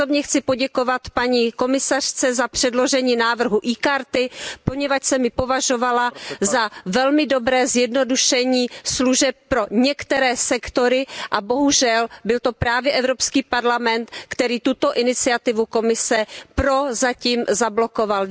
Osobně chci poděkovat paní komisařce za předložení návrhu e karty, poněvadž jsem ji považovala za velmi dobré zjednodušení služeb pro některé sektory, a bohužel byl to právě EP, který tuto iniciativu Komise prozatím zablokoval.